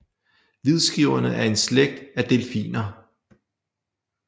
Hvidskævinger er en slægt af delfiner